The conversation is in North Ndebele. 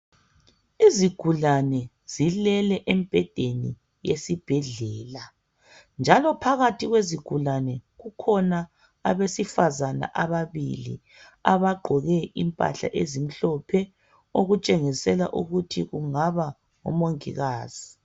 Izigulane zilele embheden esibhedlela njalo phakathi kwezigulane kukhona abesifazana ababili abagqoke impahla ezimhlophe okutshengisela ukuthi kungaba omongikazi.